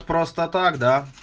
просто так да